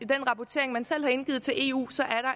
den rapportering man selv har indgivet til eu